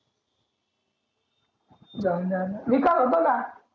जाऊन दया न मी काल होतो ना